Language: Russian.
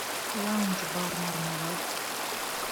лаунж бар мармелад